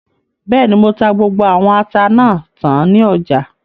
Bẹ́ẹ̀ni, mo ta gbogbo àwọn ata náà tán ní ọjà